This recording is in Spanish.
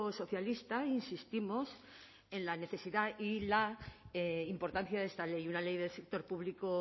socialista insistimos en la necesidad y la importancia de esta ley una ley del sector público